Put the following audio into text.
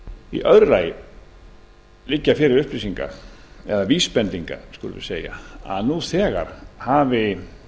í öðru lagi liggja fyrir vísbendingar um að nú þegar hafi